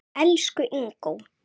Elsku Ingó.